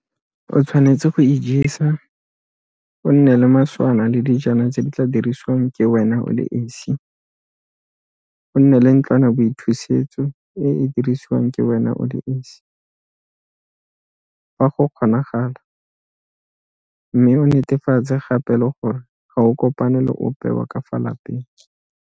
O tshwanetse go ijesa, o nne le maswana le dijana tse di tla dirisiwang ke wena o le esi, o nne le ntlwanaboithusetso e e dirisiwang ke wena o le esi, fa go kgonagala, mme o netefatse gape le gore ga o kopane le ope wa ka fa lapeng.